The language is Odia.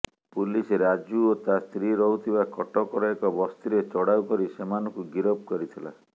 ପୁଲିସ ରାଜୁ ଓ ତା ସ୍ତ୍ରୀ ରହୁଥିବା କଟକର ଏକ ବସ୍ତିରେ ଚଢ଼ଉ କରି ସେମାନଙ୍କୁ ଗିରଫ କରିଥିଲା